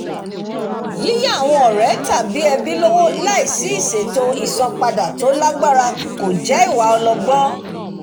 yíyà àwọn ọ̀rẹ́ tàbí ẹbí lọ́wọ́ láìsí ìṣètò ìsanwó padà tí ó lágbára kò jẹ́ ìwà ọlọ́gbọ́n